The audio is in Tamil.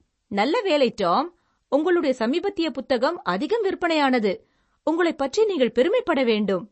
நல்ல வேலை டாம். உங்களுடைய சமீபத்திய புத்தகம் அதிகம் விற்பனையானது, உங்களைப் பற்றி நீங்கள் பெருமைப்பட வேண்டும்.